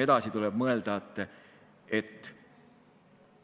Edasi tuleb mõelda, et